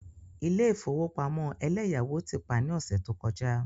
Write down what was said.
Ilé ìfowópamọ́ eleyawo ti pa ní ọ̀sẹ̀ tó kọjá.